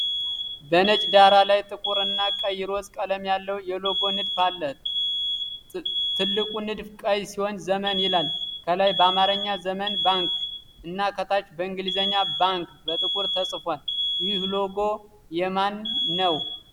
በነጭ ዳራ ላይ ጥቁር እና ቀይ (ሮዝ) ቀለም ያለው የሎጎ ንድፍ አለ። ትልቁ ንድፍ ቀይ ሲሆን "Zemen" ይላል፣ ከላይ በአማርኛ "ዘመን ባንክ" እና ከታች በእንግሊዝኛ "Bank" በጥቁር ተጽፏል። ይህ ሎጎ የማን ነው?